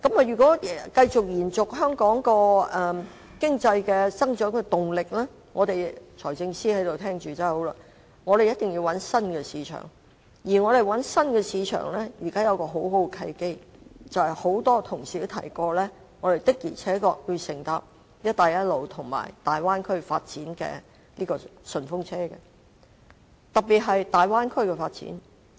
如果要延續香港經濟的增長動力——財政司司長在席上聆聽，真是太好了——我們一定要尋找新市場，而現在出現了一個很好的契機，便是很多同事已提及，我們的確要乘搭"一帶一路"和粵港澳大灣區發展的"順風車"，特別是大灣區的發展。